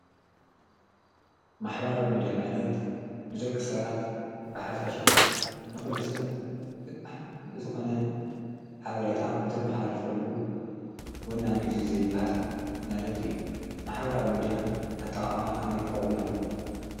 ማሕበራዊ ሚድያ ማለት ንደቂሰባት ብሓፈሻ ንኩሉ ሰብ ጠቃሚ ዝኾነ ሓበሬታ ነተመሓላልፈሉ ወናኒ እዚ ዘይብሃል ማለት እዪ ማሕበራዊ ሚድያ አጠቃቅመኡ ከመይ ክከዉን አለዎ።